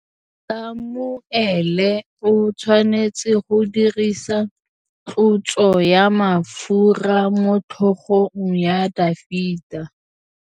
Samuele o tshwanetse go dirisa tlotsô ya mafura motlhôgong ya Dafita.